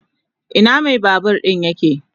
Ina mai babur din yake?